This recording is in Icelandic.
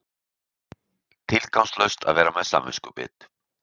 Tilgangslaust að vera með samviskubit.